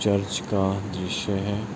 Church का दृश्य है।